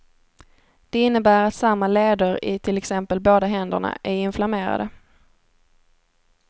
Det innebär att samma leder i till exempel båda händerna är inflammerade.